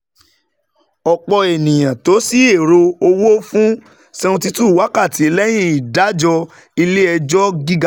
Ọ̀pọ̀ ènìyàn tò sí ẹ̀rọ owó fún seventy two wákàtí lẹ́yìn ìdájọ́ ilé-ejo gíga